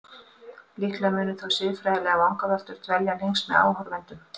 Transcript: Líklega munu þó siðfræðilegar vangaveltur dvelja lengst með áhorfendum.